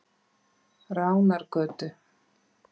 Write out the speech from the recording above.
Ránargötu